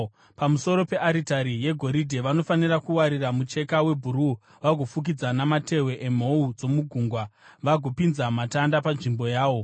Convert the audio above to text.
“Pamusoro pearitari yegoridhe, vanofanira kuwarira mucheka webhuruu vagoufukidza namatehwe emhou dzomugungwa vagopinza matanda panzvimbo yawo.